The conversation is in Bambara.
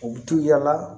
U bɛ to yaala